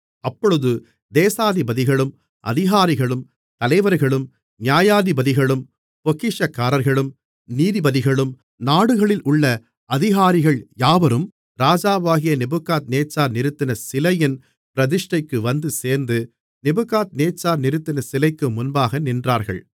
அப்பொழுது தேசாதிபதிகளும் அதிகாரிகளும் தலைவர்களும் நியாயாதிபதிகளும் பொக்கிஷக்காரர்களும் நீதிபதிகளும் நாடுகளிலுள்ள அதிகாரிகள் யாவரும் ராஜாவாகிய நேபுகாத்நேச்சார் நிறுத்தின சிலையின் பிரதிஷ்டைக்கு வந்து சேர்ந்து நேபுகாத்நேச்சார் நிறுத்தின சிலைக்கு முன்பாக நின்றார்கள்